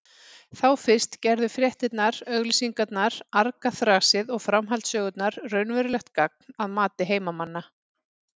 Þá fyrst gerðu fréttirnar, auglýsingarnar, argaþrasið og framhaldssögurnar raunverulegt gagn að mati heimamanna.